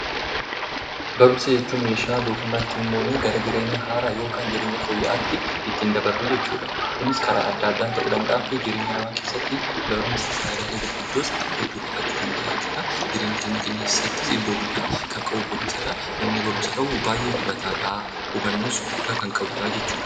Barumsa jechuun meeshaa doofummaa ittiin moonu gara jireenya haaraa yookiin fooyya'aatti ittiin dabarru jechuudha. Kunis karaa adda addaan ta'uu danda'a. Jireenya namaa keessatti barumsi fayidaalee gurguddoo hedduu qabaachuu danda'a jechuudha. Jireenya keenya keessatti iddoo guddaa kan qabu barumsadha. Namni barumsa qabu baay'ee hubataadha hubannaas baay'ee guddaa qaba jechuudha.